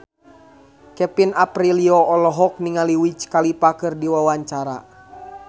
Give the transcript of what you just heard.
Kevin Aprilio olohok ningali Wiz Khalifa keur diwawancara